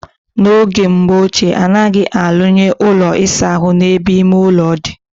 Na oge mbo oche, anaghi alu nye Ụlọ ịsa ahụ na ebe ime-ulo di.